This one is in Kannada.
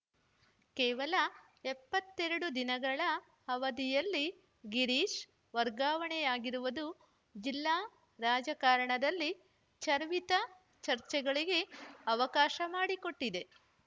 ಕೇವಲ ಎಪ್ಪತ್ತೆರಡು ದಿನಗಳ ಅವಧಿಯಲ್ಲಿ ಗಿರೀಶ್‌ ವರ್ಗಾವಣೆಯಾಗಿರುವುದು ಜಿಲ್ಲಾ ರಾಜಕಾರಣದಲ್ಲಿ ಚರ್ವಿತ ಚರ್ಚೆಗಳಿಗೆ ಅವಕಾಶ ಮಾಡಿಕೊಟ್ಟಿದೆ